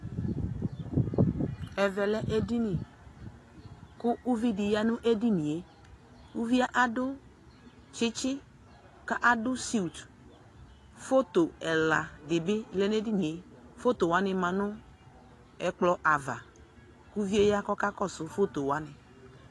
Ɛvɛ lɛ edini, kʋ uvidɩ ya nʋ edonie ; uvie adʋ tsitsi , ka adʋ sint Foto ɛladɩ bɩ lɛ n'edinie , fotowanɩ ma nʋ ɛkplɔ ava, kʋ uvie ya kakɔsʋ fotowanɩ